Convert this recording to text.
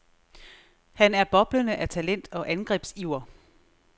Han er boblende af talent og angrebsiver.